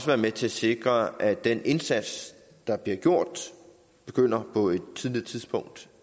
være med til at sikre at den indsats der bliver gjort begynder på et tidligere tidspunkt